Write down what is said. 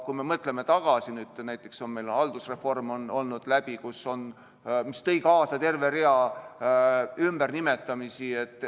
Kui me mõtleme tagasi, siis näiteks on meil haldusreform olnud, mis tõi kaasa terve rea ümbernimetamisi.